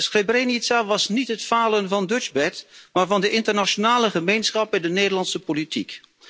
Srebrenica was niet het falen van Dutchbat, maar van de internationale gemeenschap en de Nederlandse politiek.